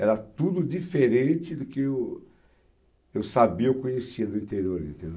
Era tudo diferente do que eu eu sabia, eu conhecia do interior, entendeu?